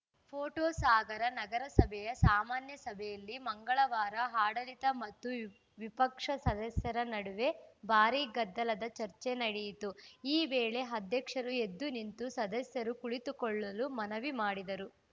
photo Sagar ನಗರಸಭೆಯ ಸಾಮಾನ್ಯ ಸಭೆಯಲ್ಲಿ ಮಂಗಳವಾರ ಆಡಳಿತ ಮತ್ತು ವಿಪಕ್ಷ ಸದಸ್ಯರ ನಡುವೆ ಭಾರೀ ಗದ್ದಲದ ಚರ್ಚೆ ನಡೆಯಿತು ಈ ವೇಳೆ ಅಧ್ಯಕ್ಷರು ಎದ್ದು ನಿಂತು ಸದಸ್ಯರು ಕುಳಿತುಕೊಳ್ಳಲು ಮನವಿ ಮಾಡಿದರು